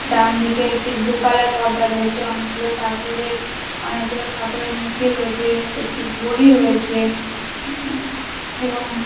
ডান দিকে একটু blue colour পর্দা রয়েছে অনেক গুলো ঠাকুরের অনেক গুলো ঠাকুরের মূর্তি রয়েছে একটি ঘড়ি রয়েছে এবং--